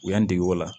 U y'an dege o la